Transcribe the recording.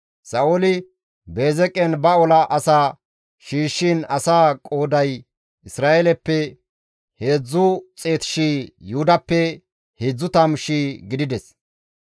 Sa7ooli Beezeqen ba ola asaa shiishshiin asaa qooday Isra7eeleppe 300,000, Yuhudappe 30,000 gidides.